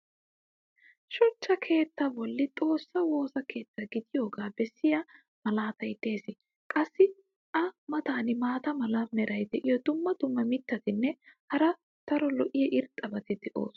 shuchcha keettaa boli xoossaa woossa keetta gidiyoogaa bessiya malaatay des. qassi a matan maata mala meray diyo dumma dumma mitatinne hara daro lo'iya irxxabati beetoosona.